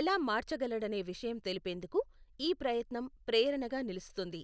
ఎలా మార్చగలడనే విషయం తెలిపేందుకు ఈ ప్రయత్నం ప్రేరణగా నిలుస్తుంది.